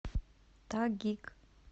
тагиг